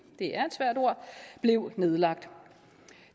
det er et svært ord blev nedlagt